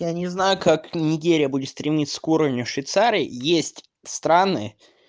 я не знаю как неделя будет стремиться к уровню швейцария есть страны